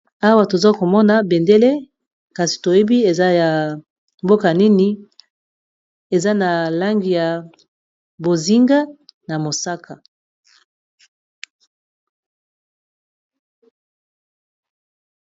Awa toza komona bendele, kasi toyebi te eza ya mboka nini, eza na langi ya bozinga na mosaka.